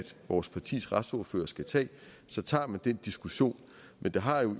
som vores partiers retsordførere skal tage og så tager man den diskussion men det har jo